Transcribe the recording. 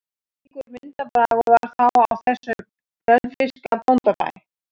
Slíkur myndarbragur var þá á þessum önfirska bóndabæ.